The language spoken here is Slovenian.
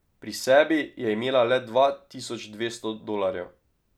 Pri sebi je imela le dva tisoč dvesto dolarjev.